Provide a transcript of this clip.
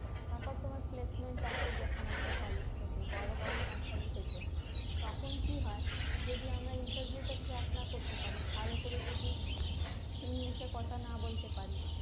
তারপর তোমার placement আসে যখন আমাদের college থেকে বড় বড় company থেকে তখন কি হয় যদি আমরা interview টা crack না করতে পারি ভালো করে যদি english এ কথা না বলতে পারি